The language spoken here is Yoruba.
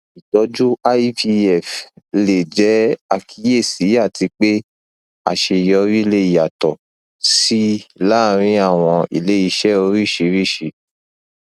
itọju ivf le jẹ akiyesi ati pe aṣeyọri le yatọ si laarin awọn ileiṣẹ oriṣiriṣi